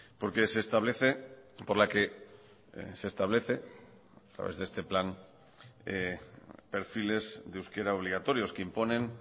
porque se establece por la que se establece a través de este plan perfiles de euskera obligatorios que imponen